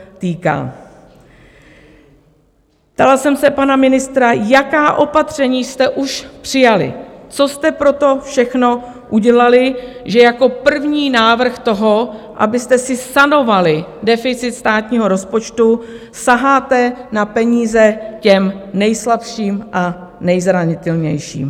Ptala jsem se pana ministra, jaká opatření jste už přijali, co jste pro to všechno udělali, že jako první návrh toho, abyste si sanovali deficit státního rozpočtu, saháte na peníze těm nejslabším a nejzranitelnějším.